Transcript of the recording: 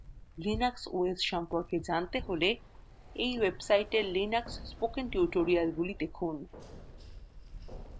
linux os সম্পর্কে জানতে হলে এই website linux spoken tutorials গুলি দেখুন